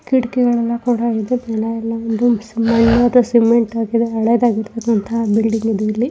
ಕಿಟಕಿಗಳೆಲ್ಲ ಕೂಡ ಇದೇ ಜನರೆಲ್ಲ ಒಂದು ಮಣ್ಣಾದ ಸಿಮೆಂಟ್ ಹಾಕಿದೆ ಹಳೆದಾಗಿರುವಂತಹ ಬಿಲ್ಡಿಂಗ್ ಇದು ಇಲ್ಲಿ.